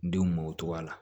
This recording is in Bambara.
Denw b'o cogoya la